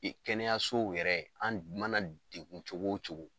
E kɛnɛyasow yɛrɛ an d mana degun cogo o cogo